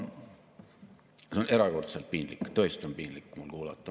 Seda on erakordselt piinlik, tõesti piinlik kuulata.